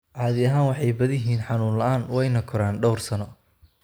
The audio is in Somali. Caadi ahaan way badan yihiin, xanuun la'aan, wayna koraan dhawr sano.